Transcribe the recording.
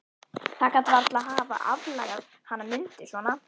Það gat varla hafa aflagað hana Mundu svona.